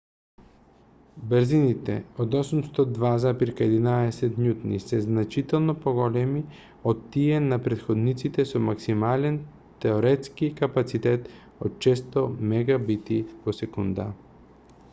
брзините од 802,11n се значително поголеми од тие на претходниците со максимален теоретски капацитет од 600 mbit/s